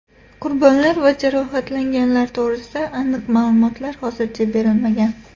Qurbonlar va jarohatlanganlar to‘g‘risida aniq ma’lumotlar hozircha berilmagan.